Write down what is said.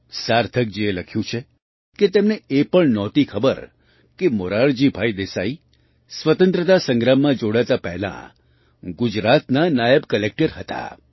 સાર્થકજીએ લખ્યું છે કે તેમને એ પણ નહોતી ખબર કે મોરારજીભાઈ દેસાઈ સ્વતંત્રતા સંગ્રામમાં જોડાતા પહેલાં ગુજરાતમાં નાયબ કલેક્ટર હતા